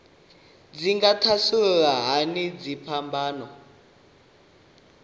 dzi nga thasulula hani dziphambano